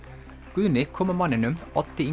Guðni kom að manninum Oddi